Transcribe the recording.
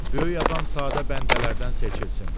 Böyük adam sadə bəndələrdən seçilsin.